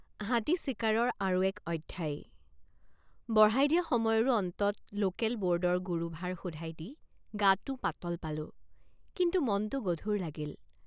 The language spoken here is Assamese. হাতী চিকাৰৰ আৰু এক অধ্যায় বঢ়াই দিয়া সময়ৰো অন্তত লোকেলবোৰ্ডৰ গুৰুভাৰ শোধাই দি গাটে৷ পাতল পালোঁ কিন্তু মনটে৷ গধুৰ লাগিল।